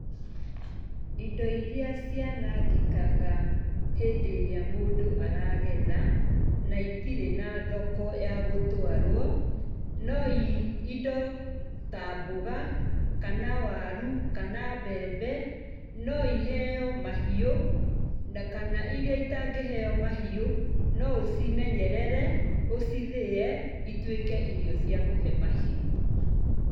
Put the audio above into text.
Indo iria cianangĩkaga hĩndĩ ĩrĩa mũndũ aragetha, na itirĩ na thoko ya gũtwarwo, no indo ta mboga kana waru, kana mbembe, no iheyo mahiũ, na kana iria itangĩheyo mahiũ, no ũcimenyerere, ũcithĩe, ituĩke irio cia kũhe mahiũ.